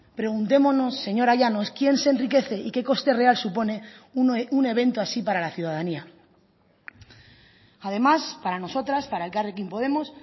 preguntémonos señora llanos quién se enriquece y qué coste real supone un evento así para la ciudadanía además para nosotras para elkarrekin podemos